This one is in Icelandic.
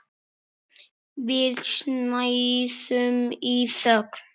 Við snæðum í þögn.